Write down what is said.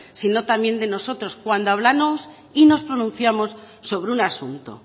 sino también de nosotros cuando hablamos y nos pronunciamos sobre un asunto